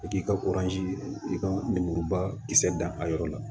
I k'i ka i ka lemuruba kisɛ dan a yɔrɔ la